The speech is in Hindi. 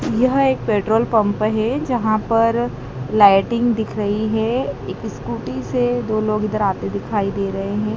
यह एक पेट्रोल पंप है जहां पर लाइटिंग दिख रही है एक स्कूटी से दो लोग इधर आते दिखाई दे रहे है।